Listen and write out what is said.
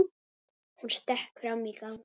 Hún stökk fram í gang.